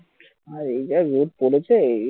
ভাই এই যা রোদ পড়েছে